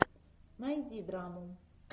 найди драму